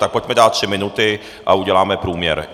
Tak pojďme dát tři minuty a uděláme průměr.